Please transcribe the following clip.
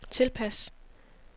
tilpas